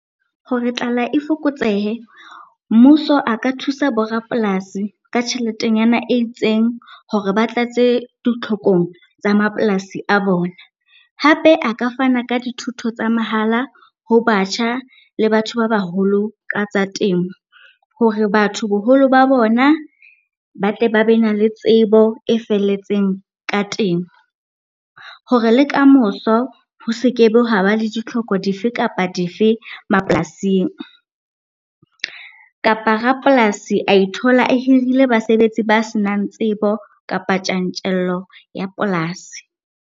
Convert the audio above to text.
Hore tlala e fokotsehe, mmuso a ka thusa bo rapolasi ka tjheletenyana e itseng hore ba tlatse ditlhokong tsa mapolasi a bona. Hape a ka fana ka dithuto tsa mahala ho batjha le batho ba baholo ka tsa temo, hore batho boholo ba bona ba tle ba be na le tsebo e felletseng ka temo. Hore le kamoso ho seke be haba le ditlhoko dife kapa dife mapolasing kapa rapolasi a ithola a hirile basebetsi ba senang tsebo kapa tjantjello ya polasi.